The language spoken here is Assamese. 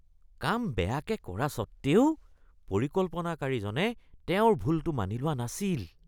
কাম বেয়াকৈ কৰা স্বত্বেও পৰিকল্পনাকাৰীজনে তেওঁৰ ভুলটো মানি লোৱা নাছিল